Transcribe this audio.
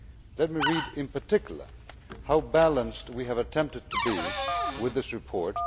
Let me read, in particular, how balanced we have attempted to be with this report.